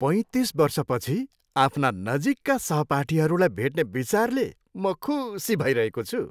पैँतिस वर्षपछि आफ्ना नजिकका सहपाठीहरूलाई भेट्ने विचारले म खुसी भइरहेको छु।